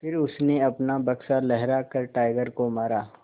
फिर उसने अपना बक्सा लहरा कर टाइगर को मारा